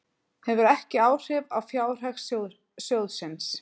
Hefur ekki áhrif á fjárhag sjóðsins